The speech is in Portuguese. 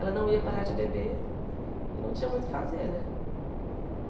Ela não ia parar de beber e eu não tinha muito o que fazer, né?